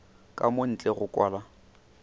ka mo ntle go kwala